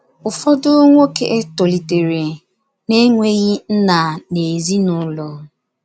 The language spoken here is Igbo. Ụfọdụ nwoke tolitere na -enweghị nna n’ezinụlọ.